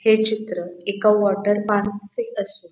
हे चित्र एका वॉटर पार्क चे असू --